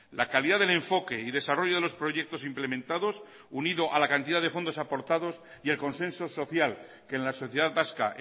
la calidad del enfoque y desarrollo de los proyectos implementados unido a la cantidad de fondos aportados y el consenso social que en la sociedad vasca